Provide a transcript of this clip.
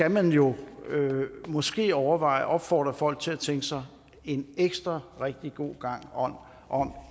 at man jo måske skal overveje at opfordre folk til at tænke sig en ekstra god gang om